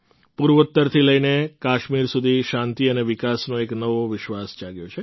પૂર્વોત્તરથી લઈને કાશ્મીર સુધી શાંતિ અને વિકાસનો એક નવો વિશ્વાસ જાગ્યો છે